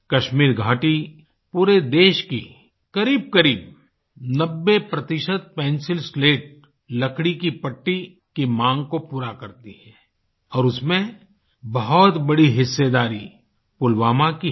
कश्मीर घाटी पूरे देश की करीबकरीब 90 पेंसिल स्लेट लकड़ी की पट्टी की मांग को पूरा करती है और उसमें बहुत बड़ी हिस्सेदारी पुलवामा की है